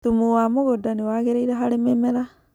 thumu wa mũgũnda nĩwagĩrĩire harĩ mĩmera